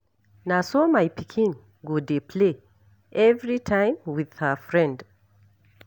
Na so my pikin go dey play everytime with her friend.